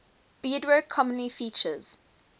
beadwork commonly features